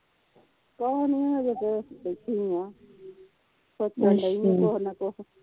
ਕੁਛ ਨਹੀਂ ਹਜੇ ਤਾ ਬੈਠੀ ਆ ਸੋਚਣ ਦੀਆ ਕੁਝ ਨਾ ਕੁਝ